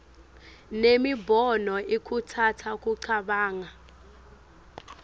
nemibono ikhutsata kucabanga